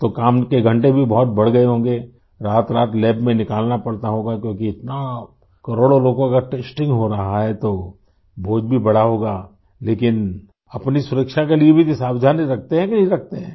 तो काम के घंटे भी बहुत बढ़ गए होंगें रातरात लैब में निकालना पड़ता होगा क्योंकि इतना करोड़ों लोगों का टेस्टिंग हो रहा है तो बोझ भी बढ़ा होगा लेकिन अपनी सुरक्षा के लिए भी ये सावधानी रखते हैं कि नहीं रखते हैं